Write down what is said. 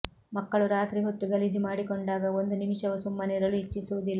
ಮಕ್ಕಳು ರಾತ್ರಿ ಹೊತ್ತು ಗಲೀಜು ಮಾಡಿಕೊಂಡಾಗ ಒಂದು ನಿಮಿಷವೂ ಸುಮ್ಮನಿರಲು ಇಚ್ಛಿಸುವುದಿಲ್ಲ